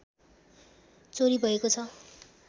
चोरी भएको छ